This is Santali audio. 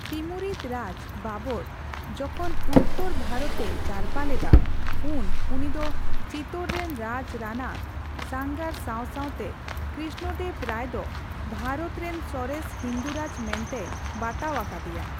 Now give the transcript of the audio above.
ᱛᱤᱢᱩᱨᱤᱫ ᱨᱟᱡᱽ ᱵᱟᱵᱚᱨ ᱡᱚᱠᱷᱚᱱ ᱩᱛᱛᱚᱨ ᱵᱷᱟᱨᱚᱛᱼᱮ ᱡᱟᱨᱯᱟ ᱞᱮᱫᱟ, ᱩᱱ ᱩᱱᱤᱫᱚ ᱪᱤᱛᱳᱨ ᱨᱮᱱ ᱨᱟᱡᱽ ᱨᱟᱱᱟ ᱥᱟᱝᱜᱟᱨ ᱥᱟᱣ ᱥᱟᱣᱛᱮ ᱠᱨᱤᱥᱱᱚᱫᱮᱵᱽ ᱨᱟᱭ ᱫᱚ ᱵᱷᱟᱨᱚᱛ ᱨᱮᱱ ᱥᱚᱨᱮᱥ ᱦᱤᱱᱫᱩ ᱨᱟᱡᱽ ᱢᱮᱱᱛᱮᱭ ᱵᱟᱛᱟᱣ ᱟᱠᱟᱫᱮᱭᱟ ᱾